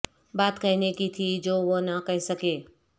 بات کہنے کی تھی جو وہ نہ کہہ سکے